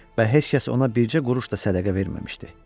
Və heç kəs ona bircə quruş da sədəqə verməmişdi.